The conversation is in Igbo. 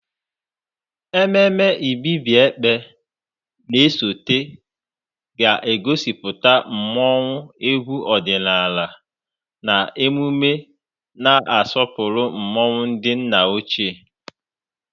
Ememme Ibibio Ekpe na-esote ga-egosipụta mmọnwụ, egwu ọdịnala, na emume na-asọpụrụ mmụọ ndị nna ochie.